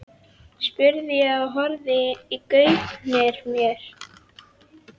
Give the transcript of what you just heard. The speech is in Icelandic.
spurði ég og horfði í gaupnir mér.